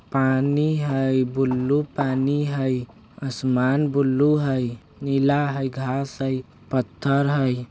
पानी हय ब्लू पानी हय असमान ब्लू हय नीला हय घास हय पत्थल हय।